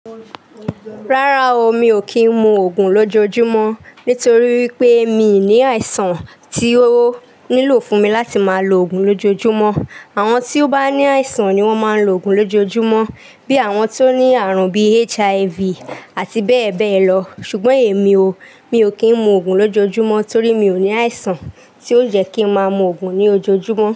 Rárá o, mi ò kì n mu oògùn lójoojúmọ́, nítorí wipé mi ní àìsàn tí ó nílo fún mi láti máa lo oògùn lójoojúmọ́. Àwọn tí ó bá ní àìsàn ni wón máa ń lo òògùn lójoojúmọ́ bí àwọn tó ní àrùn bí HIV àti bẹ́ẹ̀ bẹ́ẹ̀ lọ. Ṣùgbọ́n èmi o, mi ò kí ń mu òògùn lójoojúmọ́ torí mi ò ní àìsàn tí ó jẹ́ kí ń máa mu òògùn ní ojoojúmọ́.